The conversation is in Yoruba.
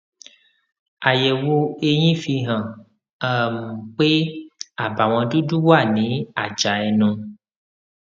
àyẹwò eyín fihàn um pé àbàwọn dúdú wà ní àjà ẹnu